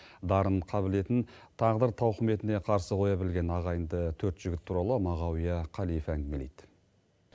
дарын қабілетін тағдыр тауқіметіне қарсы қоя білген ағайынды төрт жігіт туралы мағауия қалиев әңгімелейді